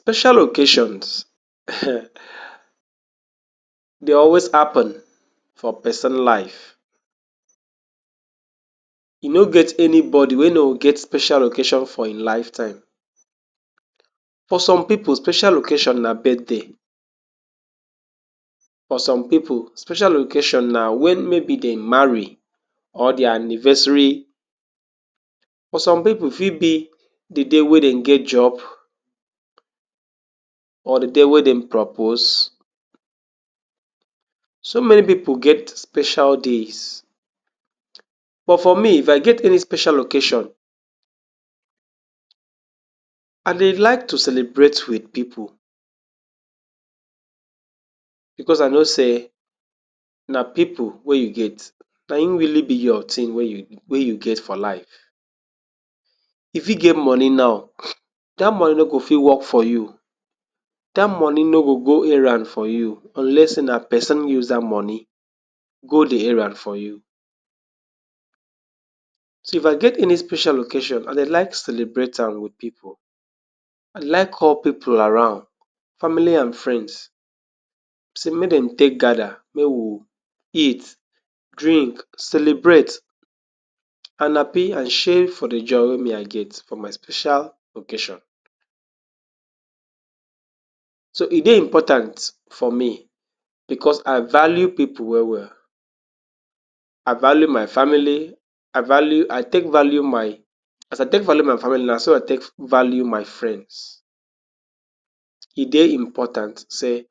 Special occasions, [smirks] dey always happen for pesin life. E no get anybodi wey no go get special occasion for ein lifetime. For some pipu, special occasion na birthday. For some pipu, special occasion na wen maybe dem marry or dia anniversary. For some pipu, e fit be di day wey dem get job or di day wey dem propose. So many pipu get special days. But for me, if I get any special occasion, I dey like to celebrate with pipu, becos I know sey na pipu wey you get, na ein really be your team wey you wey you get for life. You fit get money nau, dat money no go fit work for you. Dat money no go go errand for you unless sey na pesin use dat money go di errand for you. So if I get any special occasion, I dey like to celebrate am with pipu. I like call pipu around — family and friends — sey make dem take gather, make we eat, drink, celebrate, an happy, an share for di joy wey me I get for my special occasion. So, e dey important for me becos I value pipu well-well. I value my family, I value I take value my as I take value my family, na so I take value my friends. E dey important sey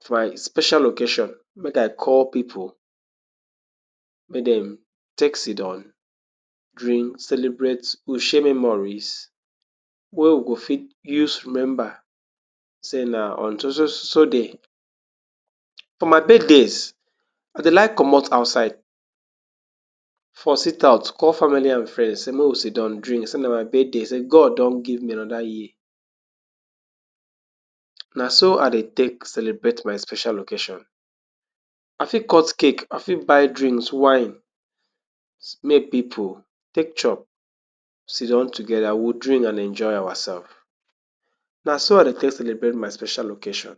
for my special occasion make I call pipu, make dem take sit down, drink, celebrate, we share memories wey we go fit use remember sey na on so-so-so-so day. For my birthdays, I dey like comot outside, for sit out, call family and friends, sey make we sit down drink, sey na my birthday sey God don give me another year. Na so I dey take celebrate my special occasion. I fit cut cake, I fit buy drinks, wine, make pipu take chop, sit down together. We will drink, an enjoy awasef. Na so I dey take celebrate my special occasion.